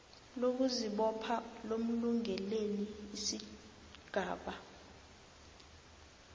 lokuzibopha lomlungeleli isigaba